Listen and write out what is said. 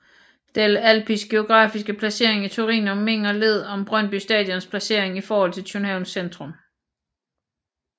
Delle Alpis geografiske placering i Torino mindede lidt om Brøndby Stadions placering i forhold til Københavns centrum